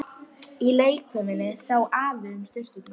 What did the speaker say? Í leikfiminni sá Afi um sturturnar.